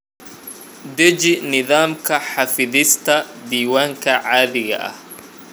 Deji nidaamka xafidista diiwaanka caadiga ah.